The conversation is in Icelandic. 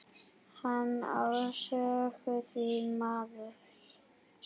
Hann á sögu, því miður.